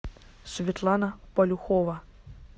светлана полюхова